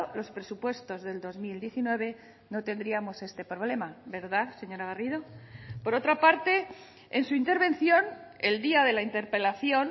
los presupuestos del dos mil diecinueve no tendríamos este problema verdad señora garrido por otra parte en su intervención el día de la interpelación